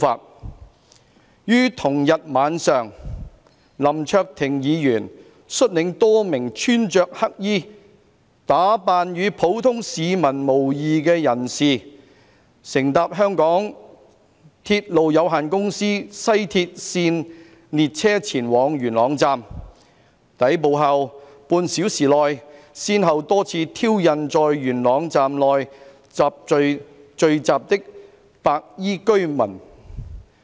2. 於同日晚上，林卓廷議員率領多名穿著黑衣、打扮與普通市民無異的人士，乘搭香港鐵路有限公司西鐵線列車前往元朗站，抵埗後半小時內，先後多次挑釁在元朗站內聚集的白衣居民。